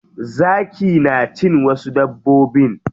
Zaki na cin wasu dabbobin.